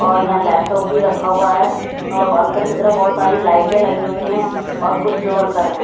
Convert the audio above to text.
और यहां लैपटॉप भी रखा हुआ है और अंदर की तरफ बहोत सारी लाइटें भी लगी हुई है और कुछ लोग अन्दर हैं।